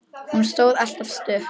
Hún stóð alltaf stutt við.